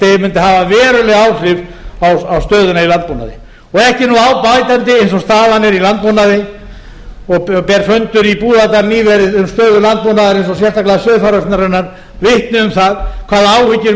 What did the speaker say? hafa veruleg áhrif á stöðuna í landbúnaði og ekki er á bætandi eins og staðan er í landbúnaði og ber fundur í búðardal nýverið um stöðu landbúnaðarins og sérstaklega sauðfjáreignarinnar vitni um það hvaða áhyggjur